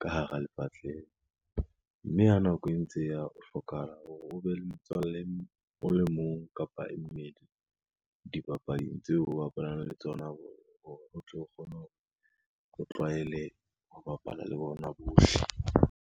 ka hara lepatlela, mme ha nako e ntse e ya hlokahala hore o be le metswalle o le mong, kapa e mebedi dibapading tseo o bapalang le tsona ho re, o tlo kgone hore o tlwaele ho bapala le bona bohle.